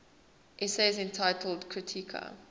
essays entitled kritika